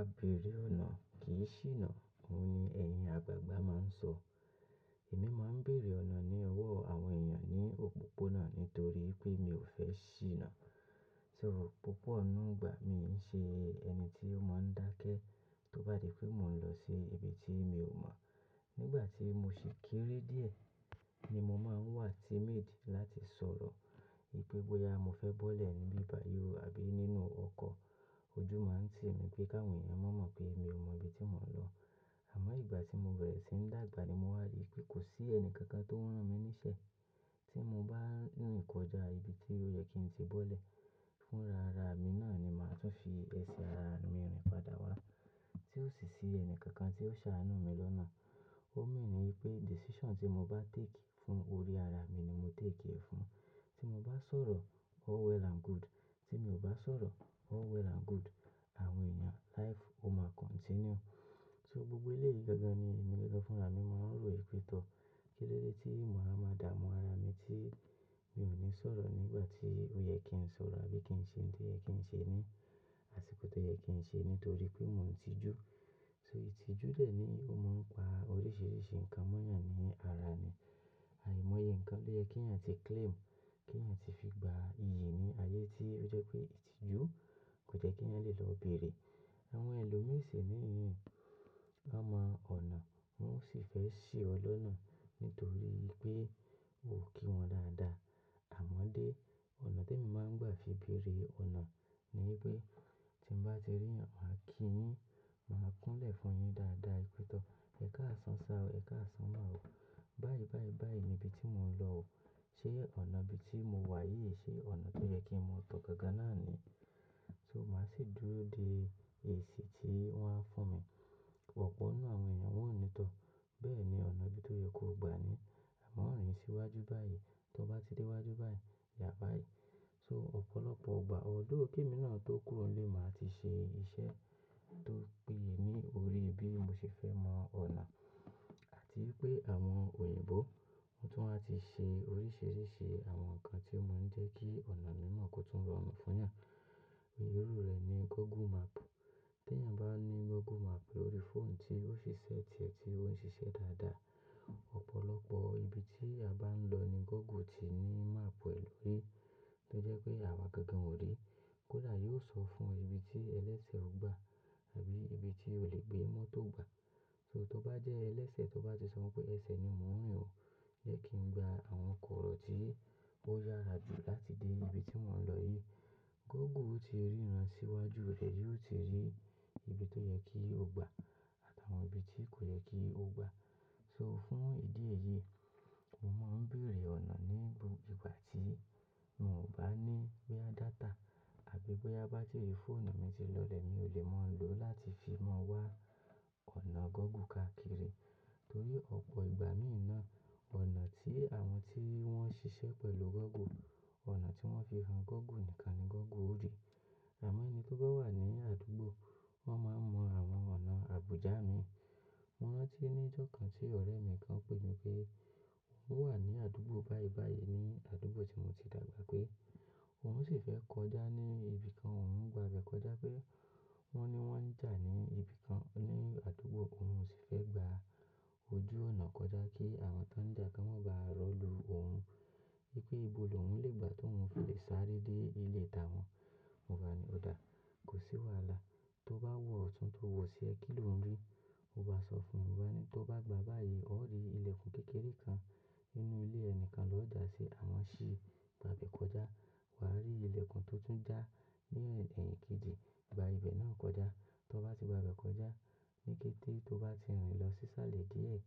"A béèrè ọ̀nà kì í ṣìnà" òun ni ẹ̀yin àgbàgbà máa ń sọ. Èmi máa ń béèrè ọ̀nà ní ọwọ́ àwọn èèyàn ní òpópónà nítorí pé mi ò fẹ́ ṣìnà. So púpọ̀ ninu igbà mi ń ṣe ẹni tí ó mọ ń dákẹ́ tó bá di pé mò ń lọ sí ibi tí mi ò mọ̀. Nígbà tí mo ṣi kéré díẹ̀, ni mo máa ń wà timid láti sọ̀rọ̀. Wipe bóyá mo fẹ́ bọ́lẹ̀ níbi bayi o àbí nínú ọkọ̀, ojú máa ń ti mi pé ki awon ni wọ́n mọ̀ pé mi ò mọ ibi tí mò ń lọ. Àmọ́ ìgbà tí mo bẹ̀rẹ̀ sí ń dàgbà ni mo wà ri pé kò sí ẹni kankan tó rán mi níṣẹ́ tí mo bá ń rìn kọjá ibi tí ó yẹ kí n ti bọ́lẹ̀. Fún rara mi náà ni màá tún fi ẹsẹ̀ ara mi rìn padà wá. Tí ò sì sí ẹni kankan tí ó ṣàánú mi lọ́nà. Ó mean wipé decision tí mo bá take fún orí ara mi ni mo take ẹ fún. Tí mo bá sọ̀rọ̀ all well and good. Tí mi ò bá sọ̀rọ̀ all well and good. Àwọn èèyàn, life o máa continue. So gbogbo eléyìí gangan ni èmi gangan fúnra. Mi máa ń rò wipe to Kílódé tí ma wa máa dààmú ara mi tí mi ò ní sọ̀rọ̀ nígbà tí ó yẹ kí n sọ̀rọ̀ àbí kí n ṣe ohun tó yẹ kí n ṣe ní, àsìkò tó yẹ kí n ṣe nítorí pé mò ń tijú. So ìtìjú dẹ̀ níyii ó máa ń pa oríṣìíríṣìí nǹkan mọ́yàn ní ara ẹni. Àìmọye nǹkan lo yẹ kí ẹ̀yàn tí claim, kí ẹ̀yàn ti fi gba iyì ní ayé tí ó jẹ́ pé ìtìjú kò jẹ́ kí ẹ̀yàn lè lọ bèèrè. Àwọn ẹlòmíràn sì ní yii, wọ́n mọ ọ̀nà, wọ́n sì fẹ́ ṣì ọ lọ́nà nítorí pé o kí wọn dáadáa. Àmọ́ dé ọ̀nà tí èmi máa ń gbà fi bèèrè ọ̀nà ni pé tí mo bá ti rí ẹ̀yàn, màá kí yín, màá kúnlẹ̀ fún yín dáadáa, wìpè tọ̀. Ẹ káàsán sá o, Ẹ káàsán má o. Báyìí, báyìí, báyìí ni ibi tí mò ń lọ o. Ṣé ọ̀nà ibi tí mo wà yìí ṣe ọ̀nà tó yẹ kí mo tọ gangan náà ni? So màá sì dúró de èsì tí wọ́n á fún mi. Ọ̀pọ̀ nínú àwọn èèyàn wọn ò ní tọ̀. Bẹ́ẹ̀ ni ọ̀nà ibi tó yẹ kó gba ni. Àmọ́ rìn síwájú báyìí, tó bá ti dé iwájú báyìí, yà bá yi. So ọ̀pọ̀lọpọ̀ igbà although k'émí náà tó kúrò nílé màá ti ṣe iṣẹ́ tó péye ní orí bí mo ṣe fẹ́ mọ ọ̀nà àti pé àwọn òyìnbó, wọn tún wá ti ṣe oríṣìíríṣìí àwọn nǹkan tí ó máa ń jẹ́ kí ọ̀nà mi mọ̀ kó tún rọrùn fún ìyàn. Irú rẹ̀ ni Google Map. Tí ẹ̀yàn bá ní Google Map lórí phone tí ó ṣi set re tí ó ń ṣiṣẹ́ dáadáa, ọ̀pọ̀lọpọ̀ ibi tí a bá ń lọ ni Google ti ní map ẹ lórí tó jẹ́ pé àwa gangan ò rí. Kódà yóò sọ fún ẹ ibi tí ẹlẹ́sẹ̀ ó gbà àbí ibi tí o lè gbé mọ́tò gba. So tó bá jẹ́ ẹlẹ́sẹ̀ tó bá ti sọ wípé ẹsẹ̀ ni mò ń rìn o, yẹ kí n gba àwọn kọ̀rọ̀ tí ó yára jù láti dé ibi tí mò ń lọ yìí. Google ó ti rí ran síwájú rẹ, yóò ti rí ibi tó yẹ kí o gba àtàwọn ibi tí kò yẹ kí o gba. So fún ìdí èyí, mo máa ń béèrè ọ̀nà ní ìgbà tí mò bá ní boya data àbí bóyá bátiri phone mi ti lọlẹ̀ ni mi o le máa lò láti fi mọ̀ wá ọ̀nà Google káàkiri. Torí ọ̀pọ̀ ìgbà mìíràn, ọ̀nà tí àwọn tí wọ́n ṣiṣẹ́ pẹ̀lú Google, ọ̀nà tí wọ́n fi han Google nìkan ni Google ó rí. Àmọ́ ẹni tó bá wà ní àdúgbò, wọ́n máa ń mọ àwọn ọ̀nà àbújá mìí. Mo rántí ní ìjọ̀kan tí ọ̀rẹ́ mi kan pè mí pé òun wà ní àdúgbò báyìí báyìí ní àdúgbò tí mo ti dàgbà pé òun sì fẹ́ kọjá ní ibi kan, òun ń gba ibẹ̀ kọjá pé wọ́n ní wọ́n ń jà ní ibi kan ní àdúgbò, òun o sì fẹ́ gba ojú ọ̀nà kọjá kí àwọn tó ń jà kan wọ́n bá rọ̀ lu òun. Wípé ibo lòun lè gba tó ń fi lè sáré dé ilé t'awọn. Mo bá ní ò dá, kò sí wàhálà. Tó bá wọ ọ̀tún tó wọ̀ osí ẹ kí ló ń rí, o bá sọ fún mi. Mo bá ní tó bá gba báyìí, o á rí ilẹ̀kùn kékeré kan nínú ilé ẹni kan lọ́jà si, àmọ́ ṣì gba àbẹ̀ kọjá. Wà á rí ilẹ̀kùn tó tún já ní ede ikejì, gba ibẹ̀ náà kọjá. Tó bá ti gba ibẹ̀ kọjá, ní kété tó bá ti rìn lọ sí sàlẹ̀ díẹ̀,